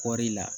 Kɔɔri la